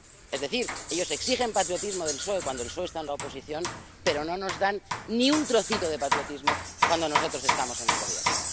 Es decir, ellos exigen patriotismo del PSOE cuando el PSOE está en la oposición, pero no nos dan ni un trocito de patriotismo cuando nosotros estamos en el Gobierno.